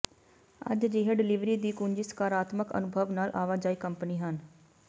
ਅਤੇ ਅਜਿਹੇ ਡਲਿਵਰੀ ਦੀ ਕੁੰਜੀ ਸਕਾਰਾਤਮਕ ਅਨੁਭਵ ਨਾਲ ਆਵਾਜਾਈ ਕੰਪਨੀ ਹਨ